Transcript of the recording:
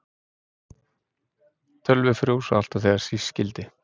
Tölvur frjósa alltaf þegar síst skyldi.